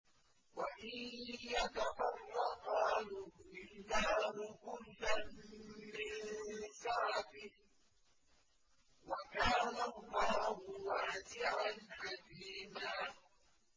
وَإِن يَتَفَرَّقَا يُغْنِ اللَّهُ كُلًّا مِّن سَعَتِهِ ۚ وَكَانَ اللَّهُ وَاسِعًا حَكِيمًا